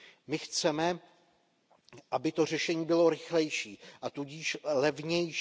My chceme, aby to řešení bylo rychlejší, a tudíž levnější.